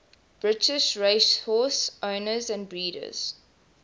british racehorse owners and breeders